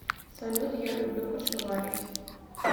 салют я люблю кашеварить